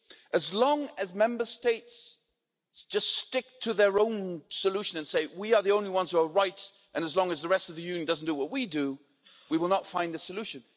As long as Member States just stick to their own solution and say we are the only ones who are right' and as long as the rest of the Union does not do what we do, we will not find a solution.